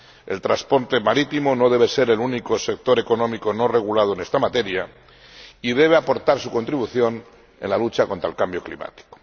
El transporte marítimo no debe ser el único sector económico no regulado en esta materia y debe aportar su contribución a la lucha contra el cambio climático.